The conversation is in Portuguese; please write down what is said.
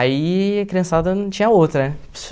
Aí, criançada, não tinha outra, né?